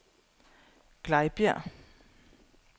Glejbjerg